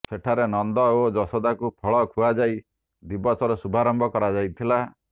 ସେଠାରେ ନନ୍ଦ ଓ ଯଶୋଦାଙ୍କୁ ଫଳ ଖୁଆଯାଇ ଦିବସର ଶୁଭାରମ୍ଭ କରାଯାଇଥିଲା